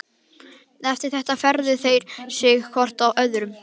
Eftir þetta fetuðu þeir sig hvor frá öðrum.